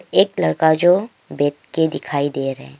एक लड़का जो बैठ के दिखाई दे रहे--